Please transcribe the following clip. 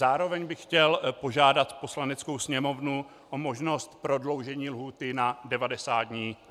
Zároveň bych chtěl požádat Poslaneckou sněmovnu o možnost prodloužení lhůty na 90 dní.